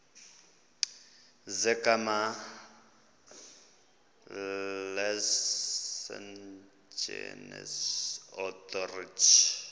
zegama lesngesn authorit